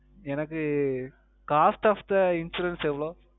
எனக்கு Cost Of The Insurance எவ்வளவு